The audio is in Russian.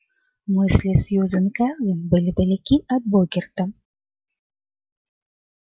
мысли сьюзен кэлвин были далеки от богерта